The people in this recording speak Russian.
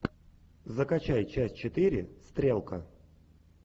закачай часть четыре стрелка